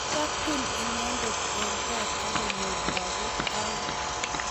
Kikaketun inendet eng tai akonyor lagok oeng